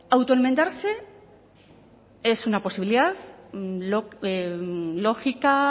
autoenmendarse es una posibilidad lógica